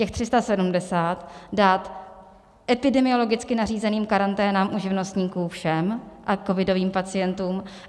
Těch 370 dát epidemiologicky nařízeným karanténám u živnostníků všem a covidovým pacientům.